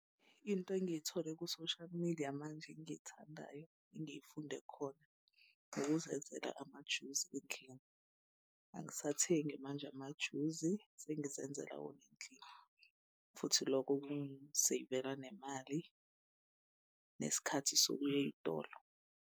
Into engiyithole ku-social media manje engiyithandayo engiyifunde khona ukuzenzela amajuzi endlini. Angisathengi manje amajuzi sengizenzele wona endlini. Futhi loko kungiseyivela nemali nesikhathi sokuya ey'tolo.